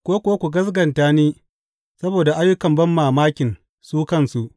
Ko kuwa ku gaskata ni saboda ayyukan banmamakin su kansu.